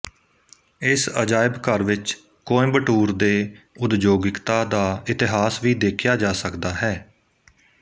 ਇਸ ਅਜਾਇਬ ਘਰ ਵਿੱਚ ਕੋਇੰਬਟੂਰ ਦੇ ਉਦਯੋਗਿਕਤਾ ਦਾ ਇਤਿਹਾਸ ਵੀ ਦੇਖਿਆ ਜਾ ਸਕਦਾਹੈ